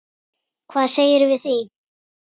Hvað segirðu við því?